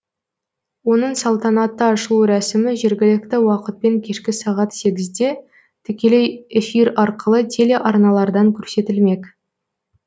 оның салтанатты ашылу рәсімі жергілікті уақытпен кешкі сағат сегізде тікелей эфир арқылы телеарналардан көрсетілмек